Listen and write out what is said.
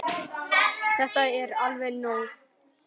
Þetta er alveg nóg!